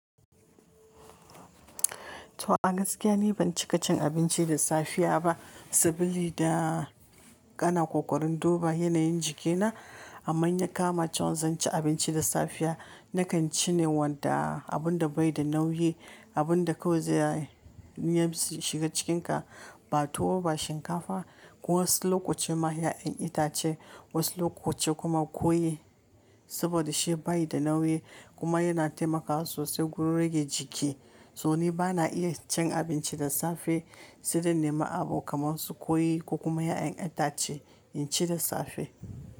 To a gaskiya ni ban cika cin abinci da safiya ba, sabili da kana ƙoƙarin duba yanayin jikina. Amma yanka macen zan ci abinci da safiya nakan ci ne wanda abun da bai da nauyi, abun da kawai zai iya shiga cikinka, ba tuwo ba shinkafa. Wasu loku ci ma ya'yan itace, wasu lokuta kuma koyi saboda shi bai da nauyi kuma yana taimakawa sosai gurin rage jiki. To ni bana iya cin abinci da safe sai da nima abu kamar su koyi ko kuma ya'yan itace in ci da safe.